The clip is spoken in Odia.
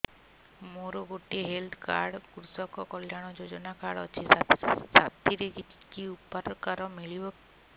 ମୋର ଗୋଟିଏ ହେଲ୍ଥ କାର୍ଡ କୃଷକ କଲ୍ୟାଣ ଯୋଜନା କାର୍ଡ ଅଛି ସାଥିରେ କି ଉପକାର ମିଳିବ